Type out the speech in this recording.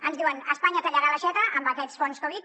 ens diuen espanya tallarà l’aixeta amb aquests fons covid